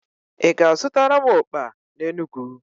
Ị ga-azutara m okpa n'Enugwu?